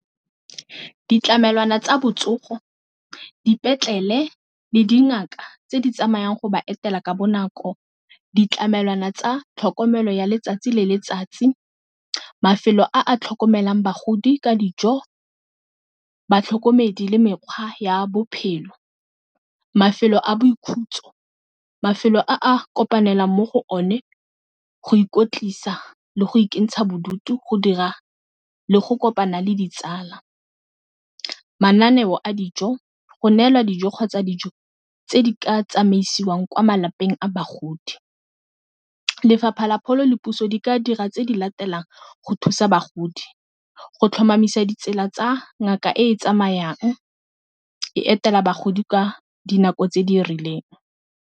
Ditlamelwana tsa botsogo, dipetlele le dingaka tse di tsamayang go ba etela ka bonako, ditlamelwana tsa tlhokomelo ya letsatsi le letsatsi mafelo a a tlhokomelang bagodi ka dijo, batlhokomedi le mekgwa ya bophelo, mafelo a boikhutso, mafelo a a kopanelang mo go one go ikotlisa le go ikentsha bodutu, go dira, le go kopana le ditsala. Mananeo a dijo go neelwa dijo kgotsa dijo tse di ka tsamaisiwang kwa malapeng a bagodi. Lefapha la pholo le puso di ka dira tse di latelang go thusa bagodi, go tlhomamisa ditsela tsa ngaka e e tsamayang e etela bagodi ka dinako tse di rileng.